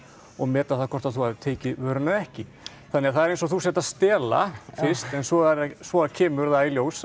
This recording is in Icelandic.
og meta það hvort þú hafir tekið vöruna eða ekki þannig að það er eins og þú sért að stela fyrst en svo svo kemur það í ljós